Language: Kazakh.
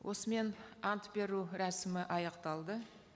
осымен ант беру рәсімі аяқталды